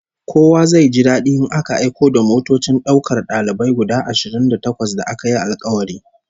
Kowa zai ji dadi in aka aiko da motocin daukar dalibai guda ashirin da takwas da aka yi alkawari